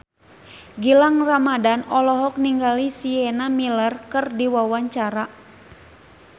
Gilang Ramadan olohok ningali Sienna Miller keur diwawancara